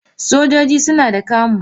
Sojoji suna da camo.